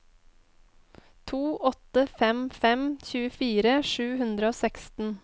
to åtte fem fem tjuefire sju hundre og seksten